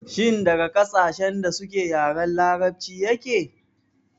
Shin daga ƙasashen da suke yaren larabci yake?